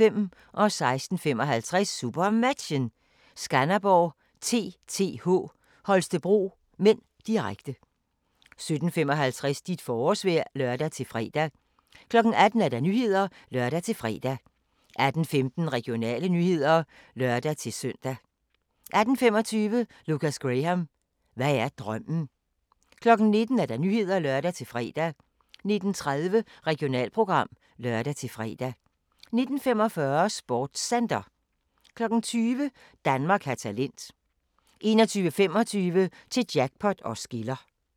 16:55: SuperMatchen: Skanderborg-TTH Holstebro (m), direkte 17:55: Dit forårsvejr (lør-fre) 18:00: Nyhederne (lør-fre) 18:15: Regionale nyheder (lør-søn) 18:25: Lukas Graham – hvad er drømmen? 19:00: Nyhederne (lør-fre) 19:30: Regionalprogram (lør-fre) 19:45: SportsCenter 20:00: Danmark har talent 21:25: Til Jackpot os skiller